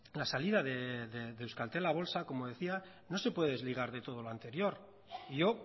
la salida de euskaltel a bolsa como decía no se puede desligar de todo lo anterior yo